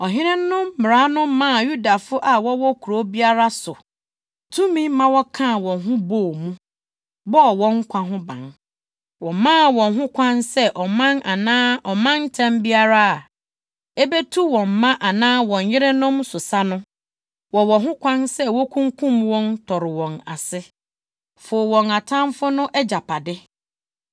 Ɔhene no mmara no maa Yudafo a wɔwɔ kurow biara so tumi ma wɔkaa wɔn ho bɔɔ mu, bɔɔ wɔn nkwa ho ban. Wɔmaa wɔn ho kwan sɛ ɔman anaa ɔmantam biara a ebetu wɔn mma anaa wɔn yerenom so sa no, wɔwɔ ho kwan sɛ wokunkum wɔn, tɔre wɔn ase, fow wɔn atamfo no agyapade.